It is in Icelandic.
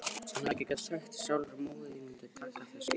Hefði hann ekki getað sagt sér sjálfur að móðir þín mundi taka þessu illa?